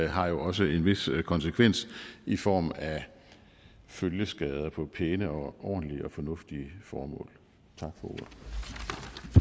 har jo også en vis konsekvens i form af følgeskader på pæne ordentlige og fornuftige formål